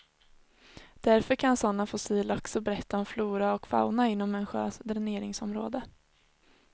Därför kan sådana fossil också berätta om flora och fauna inom en sjös dräneringsområde.